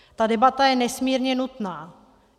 Ta debata je nesmírně nutná.